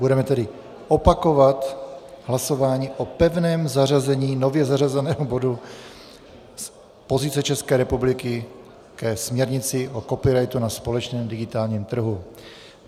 Budeme tedy opakovat hlasování o pevném zařazení nově zařazeného bodu Pozice České republiky ke směrnici o copyrightu na společném digitálním trhu.